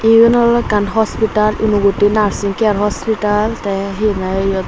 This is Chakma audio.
eun oley ekkan hospital unakoti nursing care hospital te he hoi eyot.